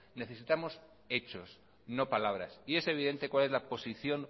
necesitamos hechos no palabras y es evidente cuál es la posición